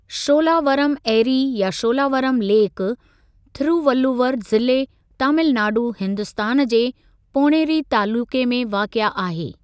शोलावरम एरी या शोलावरम लेक, थिरुवल्लुवर जिले, तामिल नाडू, हिन्दुस्तान जे पोण्णेरी तालुक़े में वाक़िआ आहे।